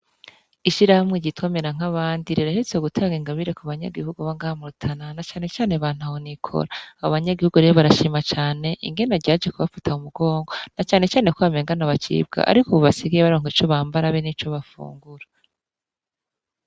Ishirahamwe igitomera nk'abandi rerahitse gutanga ingabire ku banyagihugu bangamurtana na canecane bantuhonikoli abo banyagihugu reyo barashima cane ingena ryaje kubafata u mugongo na canecane kw bamengana bacibwa, ariko ububasigaye baronka ico bambara be ni co bafungura.